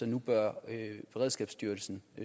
nu bør beredskabsstyrelsen